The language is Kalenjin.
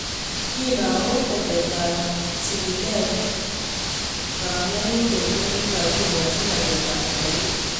Kinaamu teteetaab chilileet kanyerindet nekikakikochi rateetab sobeet